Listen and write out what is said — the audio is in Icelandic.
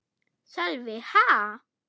Sölvi: Ha?